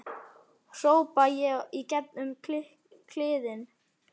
hrópa ég í gegn um kliðinn.